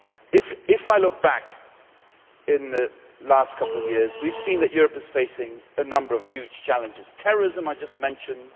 If I look back at the last couple of years, we have seen that Europe is facing a number of huge challenges terrorism, as I just mentioned